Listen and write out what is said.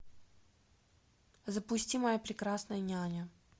запусти моя прекрасная няня